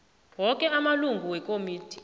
woke amalungu wekomidi